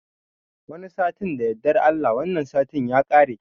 Wani satin da yardan Allah, wannan satin ya kare.